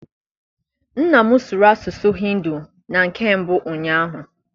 Nna m sụrụ asụsụ Hindi na nke mbụ ụnyaahụ.